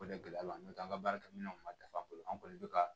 O de gɛlɛya b'an kan an ka baarakɛminɛnw ma dafa an kɔni be ka